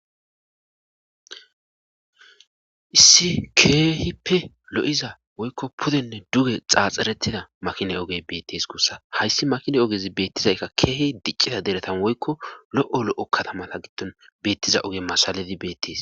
issi keehi pe lo7iza woykko pudenne duge xaaxxerettida makine ogey beettes guussa hayssi makine ogezi beettizaykka keehi diccida deretan woykko lo7o lo7o katamata giddon beettiza oge masaledi beettees